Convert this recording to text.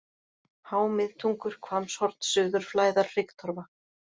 Há-Miðtungur, Hvammshorn, Suður-Flæðar, Hryggtorfa